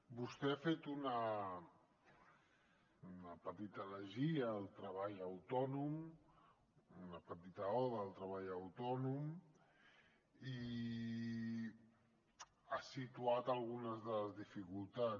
vostè ha fet una petita elegia al treball autònom una petita oda al treball autònom i ha situat algunes de les dificultats